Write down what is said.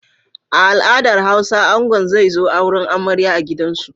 A al'adar Hausa angon zai zo auren amarya a gidansu.